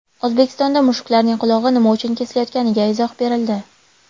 O‘zbekistonda mushuklarning qulog‘i nima uchun kesilayotganiga izoh berildi.